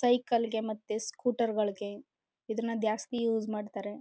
ಸೈಕಲ್ಗೆ ಮತ್ತು ಸ್ಕೂಟರ್ಗಳಿಗೆ ಇದನ್ನ ಜಾಸ್ತಿ ಯೂಸ್ ಮಾಡ್ತಾರೆ